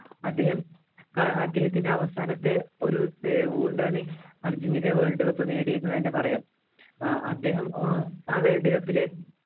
അദ്ദേഹം അദ്ദേഹത്തിൻ്റെ അവസാനത്തെ ഒരു ആണ് അർജൻറ്റീന world cup നേടിയത് എന്ന് തന്നെ പറയാം അദ്ദേഹം ഏർ ആ world cup ലെ